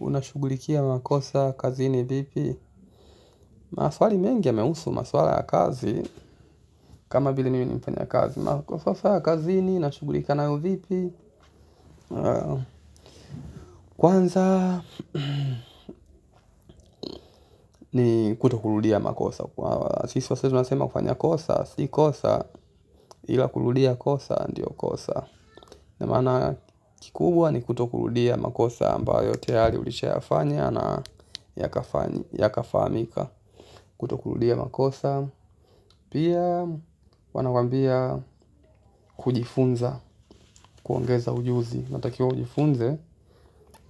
Unashughulikia makosa, kazini, vipi? Maswali mengi yanahusu maswala ya kazi kama vile mimi nafanya kazi. Maswala ya kazini, nashughulika nayo vipi? Kwanza ni kutorudia makosa kwa sisi waswahili tunasema kufanya kosa si kosa ila kurudia kosa ndiyo kosa. Na maana kikubwa ni kutorudia makosa ambayo tayari ulishafanya na yakafahamika. Kutorudia makosa. Pia huwa nawaambia kujifunza kuongeza ujuzi unatakiwa ujifunze